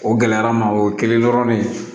O gɛlɛyara n ma o kɛlen dɔrɔn ne